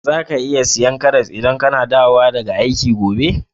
Zaka iya saya karras idan kana dawowa daga aiki gobe?